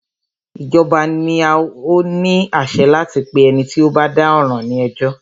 Ìjọba ni o ní àṣẹ láti pé ẹni tí o bá dá ọ̀ràn ní ẹjọ́.